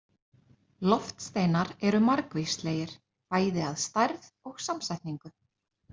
Loftsteinar eru margvíslegir, bæði að stærð og samsetningu.